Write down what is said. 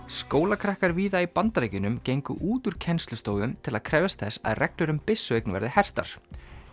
skólakrakkar víða í Bandaríkjunum gengu út úr kennslustofum til að krefjast þess að reglur um byssueign verði hertar